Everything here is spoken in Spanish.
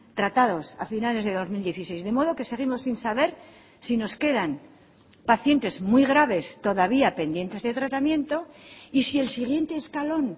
tratados a finales de dos mil dieciséis de modo que seguimos sin saber si nos quedan pacientes muy graves todavía pendientes de tratamiento y si el siguiente escalón